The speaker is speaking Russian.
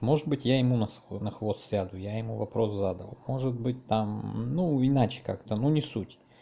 может быть я ему на хвост сяду я ему вопрос задал может быть там ну иначе как-то ну не суть